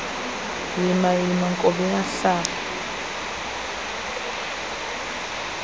yima yima nkobiyahlaba